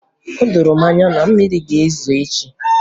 O doro m anya na mmiri ga-ezo echi